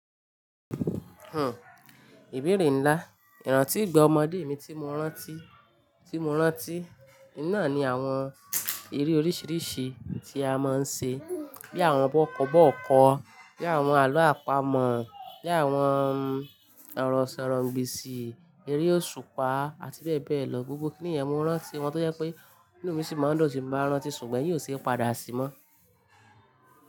Hmm ìbéèrè nlá, ìrántí ìgbà ọmọdé mi tí mo rántí, tí mo rántí, iná ni àwọn eré oríṣiríṣi tí a máa ń ṣe bí àwọn bọ́kọ̀bọ́ọ̀kọ̀, bí àwọn àlọ́ àpamọ̀, bí àwọn ọ̀rọ̀ ìsọ̀rọ̀-ǹ-gbèsì, eré òṣùpá, àti bẹ́ẹ̀ bẹ́ẹ̀ lọ. Gbogbo kí nìyẹn mo rántí wọn tó jẹ́ pé inú mi sì máa ń dùn tí mo bá rántí, ṣùgbọ́n ẹyin se padà sí mọ́.